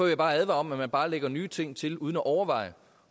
jeg bare advare mod at man bare lægger nye ting til uden at overveje